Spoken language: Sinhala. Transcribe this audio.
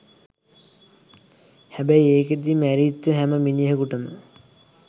හැබැයි ඒකෙදි මැරිච්ච හැම මිනිහෙකුටම